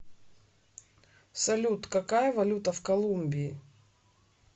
салют какая валюта в колумбии